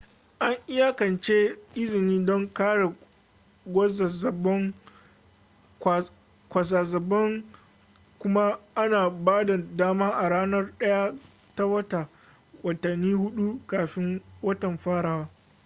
an iyakance izini don kare kwazazzabon kuma ana ba da dama a ranar 1 ta wata watanni huɗu kafin watan farawa